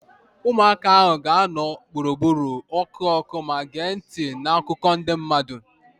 Ụmụaka ahụ ga-anọdụ gburugburu ọkụ ọkụ ma gee ntị na akụkọ ndị mmadụ